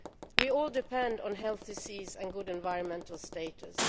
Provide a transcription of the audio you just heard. We all depend on healthy seas and good environmental status.